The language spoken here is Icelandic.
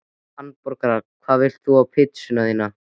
Hamborgara Hvað vilt þú fá á pizzuna þína?